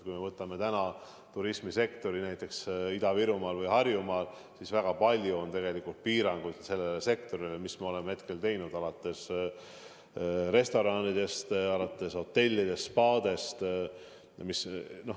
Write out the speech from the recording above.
Kui me võtame turismisektori näiteks Ida-Virumaal või Harjumaal, siis me oleme sellele sektorile väga palju piiranguid kehtestanud – alates restoranidest ja lõpetades hotellide ja spaadega.